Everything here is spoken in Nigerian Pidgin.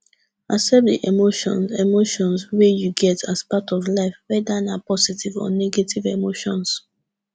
accept di emotions emotions wey you get as part of life weda na positive or negative emotions